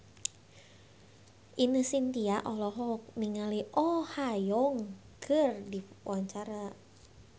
Ine Shintya olohok ningali Oh Ha Young keur diwawancara